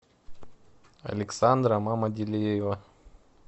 александра мамаделеева